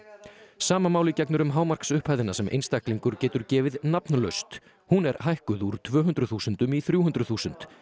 sama máli gegnir um hámarksupphæðina sem einstaklingur getur gefið nafnlaust hún er hækkuð úr tvö hundruð þúsundum í þrjú hundruð þúsund